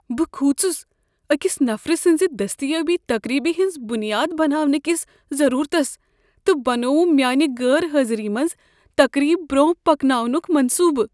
بہٕ كھوٗژس أکس نفرٕ سٕنٛز دستیابی تقریبہ ہٕنٛز بنیاد بناونٕہٕ كس ضروٗرتس تہٕ بنووُم میانہِ غٲر حٲضری منٛز تقریب برونہہ پكناونک منصوٗبہٕ۔